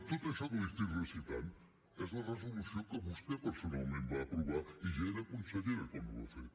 tot això que li recito és la resolució que vostè personalment va aprovar i ja era consellera quan ho va fer